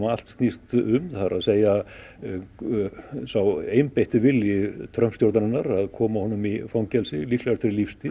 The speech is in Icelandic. allt snýst um það er að segja sá einbeitti vilji Trump stjórnarinnar að koma honum í fangelsi líklega fyrir lífstíð